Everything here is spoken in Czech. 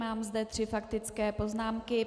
Mám zde tři faktické poznámky.